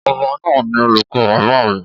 Ọba náà ni olùkọ́ bàbá mi.